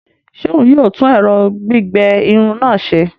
Ṣe òún yóò tún ẹrọ gbigbẹ Irun náà ṣe?